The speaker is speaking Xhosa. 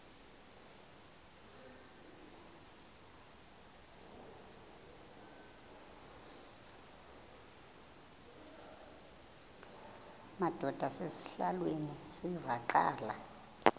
madod asesihialweni sivaqal